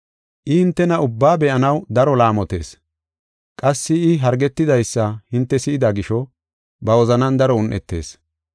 I hintena ubbaa be7anaw daro laamotees. Qassi I hargetidaysa hinte si7ida gisho, ba wozanan daro un7etis.